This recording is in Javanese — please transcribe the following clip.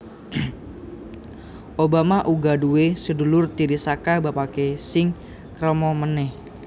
Obama uga duwé sedulur tiri saka bapaké sing krama manèh